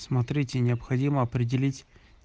смотрите необходимо определить